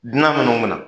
Dunan minnu bɛna